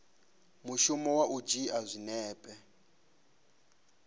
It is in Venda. mushumo wa u dzhia zwinepe